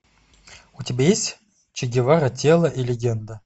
у тебя есть че гевара тело и легенда